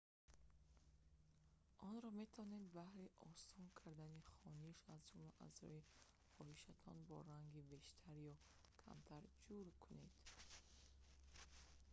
онро метавонед баҳри осон кардани хониш аз ҷумла аз рӯи хоҳишатон бо ранги бештар ё камтар ҷур кунед